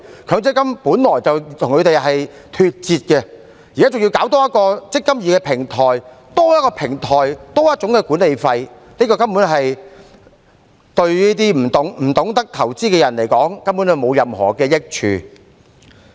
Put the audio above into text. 強積金計劃本來便與他們脫節，現在還多開設"積金易"平台，多一個平台，便多一種管理收費，這對於那些不懂得投資的人而言根本沒有任何益處。